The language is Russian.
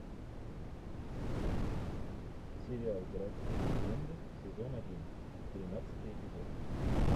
сериал городские легенды сезон один тринадцатый эпизод